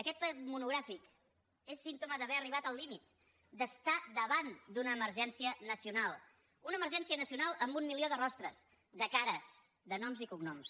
aquest ple monogràfic és símptoma d’haver arribat al límit d’estar davant d’una emergència nacional una emergència nacional amb un milió de rostres de cares de noms i cognoms